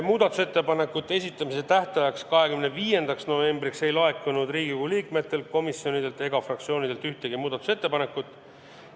Muudatusettepanekute esitamise tähtajaks, 25. novembriks ei laekunud Riigikogu liikmetelt, komisjonidelt ega fraktsioonidelt ühtegi muudatusettepanekut.